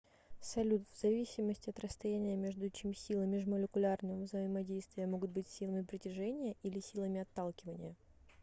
салют в зависимости от расстояния между чем силы межмолекулярного взаимодействия могут быть силами притяжения или силами отталкивания